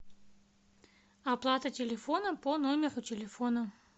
оплата телефона по номеру телефона